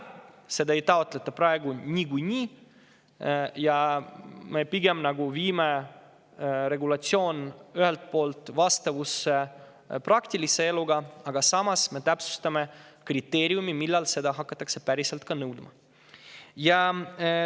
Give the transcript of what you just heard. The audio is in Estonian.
Praegu ei taotleta seda niikuinii, nii et me viime regulatsiooni rohkem vastavusse praktilise eluga, samas täpsustame kriteeriumi, millal seda hakatakse päriselt nõudma.